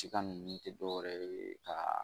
Siga nunnu te dɔwɛrɛ ka